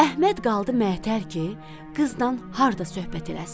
Əhməd qaldı mətər ki, qızla harda söhbət eləsin.